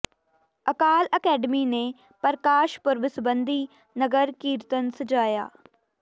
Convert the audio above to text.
ਅਕਾਲ academy ਨੇ ਪ੍ਰਕਾਸ਼ ਪੁਰਬ ਸਬੰਧੀ ਨਗਰ ਕੀਰਤਨ ਸਜਾਇਆ